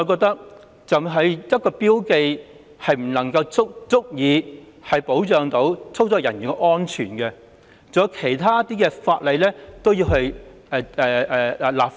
單憑標記，我認為不足以保障操作人員的安全，其他方面亦應相應立法。